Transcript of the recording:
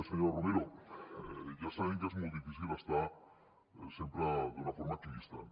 senyora romero ja sabem que és molt difícil estar sempre d’una forma equidistant